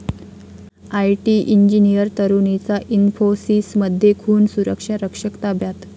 IT engineer तरुणीचा इन्फोसिसमध्ये खून, सुरक्षारक्षक ताब्यात